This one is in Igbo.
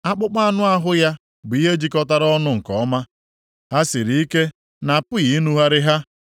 Akpụkpọ anụ ahụ ya bụ ihe jikọtara ọnụ nke ọma, ha siri ike na-apụghị inugharị ha.